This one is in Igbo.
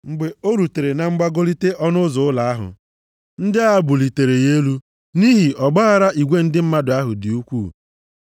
Mgbe o rutere na mgbagolite ọnụ ụzọ ụlọ ahụ, ndị agha bulitere ya elu nʼihi ọgbaaghara igwe ndị mmadụ dị ukwuu.